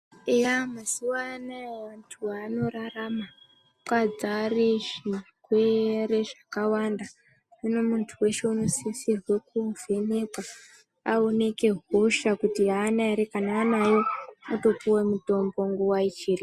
Eya mazuva anawa vantu vanorarama makadzara zvirwere zvakawanda, zvinosisirwa kuvhenkwa aonekwe hosha kuti hana ere kana anawo otopuwa mutombo nguwa ichipo.